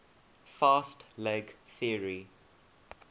fast leg theory